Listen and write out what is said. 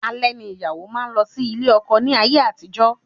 Alẹ́ ni ìyàwó máa n lọ sí ilé ọkọ ní ayé àtijó